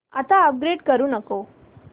आता अपग्रेड करू नको